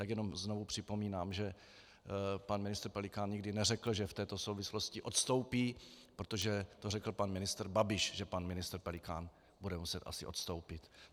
Tak jenom znovu připomínám, že pan ministr Pelikán nikdy neřekl, že v této souvislosti odstoupí, protože to řekl pan ministr Babiš, že pan ministr Pelikán bude muset asi odstoupit.